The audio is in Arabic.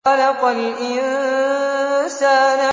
خَلَقَ الْإِنسَانَ